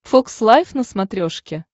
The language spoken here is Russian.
фокс лайф на смотрешке